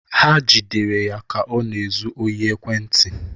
Ha jidere ya ka ọ na-ezu ohi ekwentị.